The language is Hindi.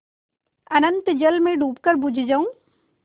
अनंत जल में डूबकर बुझ जाऊँ